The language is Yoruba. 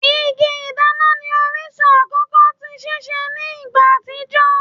Igi-ìdana ni orisun akọkọ ti sise ni igba atijọ